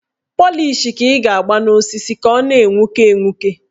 Pọlịsh ka ị ga-agba n' osisi ka ọ na-enwuke enwuke